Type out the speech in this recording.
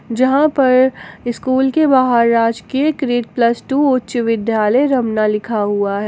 जहां पर स्कूल के बाहर राजकीय कृत प्लस टू उच्च विद्यालय रमना लिखा हुआ है।